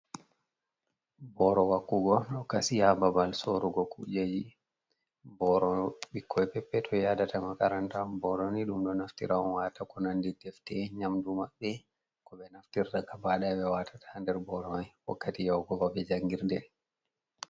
Booro wakkugo ɗo kasi haa babal soorugo kujeeji. Booro bikkoy peppetoy yaadata makaranta. Booro ni ɗum ɗo naftira on waata konanndi defte, nyaamdu maɓɓe ko ɓe naftirta gabaɗaya ɓe watata nder booro mai wakkati yahugo babe janngirde.